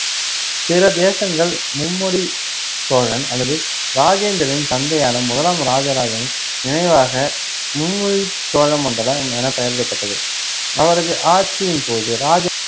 பிற தேசங்கள் மும்முடி சோழன் அல்லது ராஜேந்திரனின் தந்தையான முதலாம் இராஜராஜனின் நினைவாக மும்முடிச்சோழமண்டலம் எனப் பெயரிடப்பட்டது. அவரது ஆட்சியின் போது ராஜே~